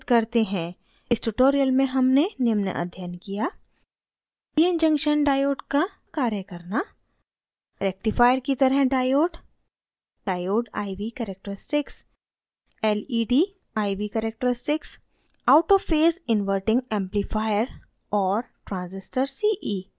इस tutorial में हमने निम्न अध्ययन किया: